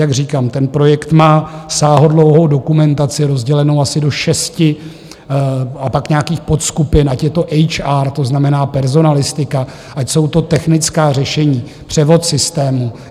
Jak říkám, ten projekt má sáhodlouhou dokumentaci rozdělenou asi do šesti a pak nějakých podskupin, ať je to HR, to znamená personalistika, ať jsou to technická řešení, převod systémů.